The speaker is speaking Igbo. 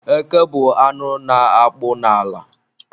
Eke bụ anụ na-akpụ n'ala